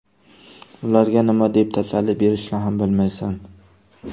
Ularga nima deb tasalli berishni ham bilmaysan.